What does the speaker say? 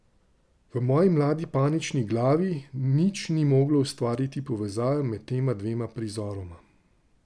V moji mladi, panični glavi nič ni moglo ustvariti povezave med tema dvema prizoroma.